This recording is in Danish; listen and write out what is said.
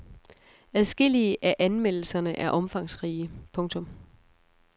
Adskillige af anmeldelserne er omfangsrige. punktum